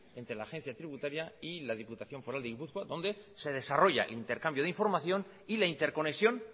entre la agencia tributaria y la diputación foral de gipuzkoa donde se desarrolla intercambio de información y la interconexión